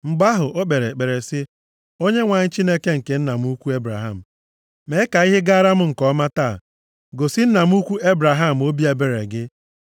Mgbe ahụ, o kpere ekpere sị, “ Onyenwe anyị, Chineke nke nna m ukwu Ebraham, mee ka ihe gaara m nke ọma taa. Gosi nna m ukwu Ebraham obi ebere gị.